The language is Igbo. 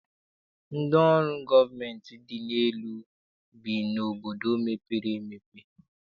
Ndị ọrụ gọọmentị dị elu bi n'obodo mepere emepe.